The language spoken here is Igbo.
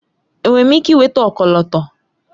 Enwere m ike ịnweta ọkọlọtọ?